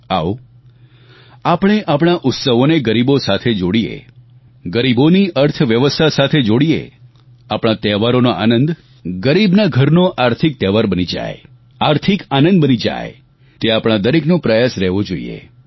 આવો આપણે આપણા ઉત્સવોને ગરીબો સાથે જોડીએ ગરીબોની અર્થવ્યવસ્થા સાથે જોડીએ આપણા તહેવારોનો આનંદ ગરીબના ઘરનો આર્થિક તહેવાર બની જાય આર્થિક આનંદ બની જાય તે આપણા દરેકનો પ્રયાસ રહેવો જોઈએ